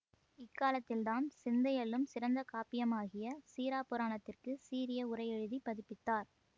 இக் காலத்தில்தான் சிந்தையள்ளும் சிறந்த காப்பியமாகிய சீறாப்புராணத்திற்க்கு சீரிய உரையெழுதிப் பதிப்பித்தார்